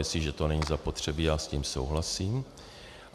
Jestliže to není zapotřebí, já s tím souhlasím.